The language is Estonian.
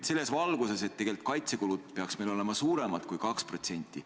Selles valguses peaksid meil kaitsekulud tegelikult olema suuremad kui 2%.